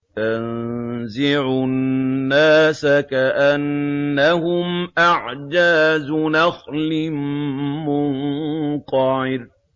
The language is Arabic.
تَنزِعُ النَّاسَ كَأَنَّهُمْ أَعْجَازُ نَخْلٍ مُّنقَعِرٍ